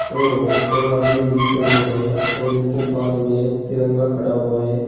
और दो आदमी भी खड़े हुए हैं और उनके पास में एक तिरंगा खड़ा हुआ है।